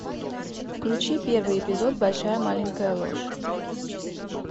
включи первый эпизод большая маленькая ложь